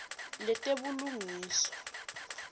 letebulungiswa